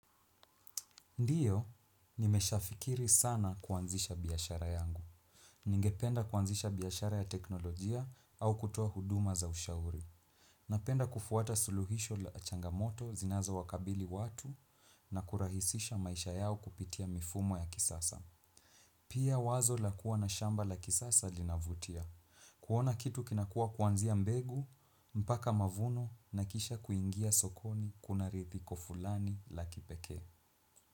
Ndio, nimeshafikiri sana kuanzisha biashara yangu. Ningependa kuanzisha biashara ya teknolojia au kutoa huduma za ushauri. Napenda kufuata suluhisho la changamoto zinazowakabili watu na kurahisisha maisha yao kupitia mifumo ya kisasa. Pia wazo la kuwa na shamba la kisasa linavutia. Kuona kitu kinakua kuanzia mbegu, mpaka mavuno na kisha kuingia sokoni kuna ridhiko fulani la kipekee.